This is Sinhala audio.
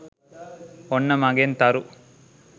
ඔන්න මගෙන් තරු